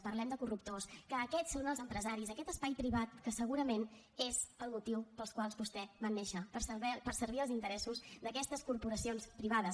parlem de corruptors que aquests són els empresaris aquest espai privat que segurament és el motiu pel qual vostès van néixer per servir els interessos d’aquestes corporacions privades